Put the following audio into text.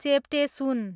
चेप्टे सुन